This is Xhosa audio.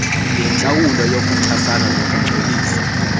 leentlawulo zokuchasana nokungcolisa